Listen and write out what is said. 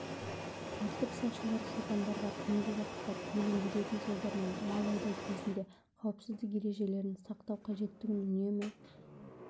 тәртіп сақшылары шопандарға түнгі уақытта көлік жүретін жолдармен мал айдау кезінде қауіпсіздік ережелерін сақтау қажеттігін үнемі